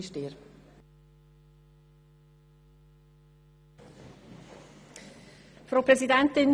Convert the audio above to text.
Nach dem Gesagten entspricht dies bereits der geübten Praxis der Steuerverwaltung.